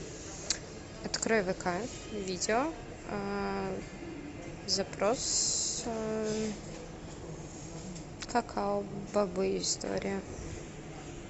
открой вк видео запрос какао бобы история